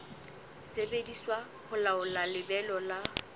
sebediswa ho laola lebelo la